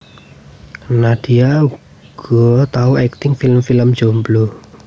Nadia uga tau akting film film Jomblo